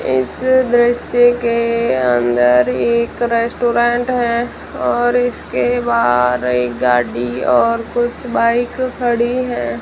इस दृश्य के अंदर एक रेस्टोरेंट है और इसके बाहर एक गाड़ी और कुछ बाइक खड़ी हैं।